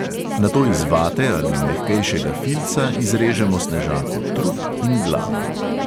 Nato iz vate ali mehkejšega filca izrežemo snežaku trup in glavo.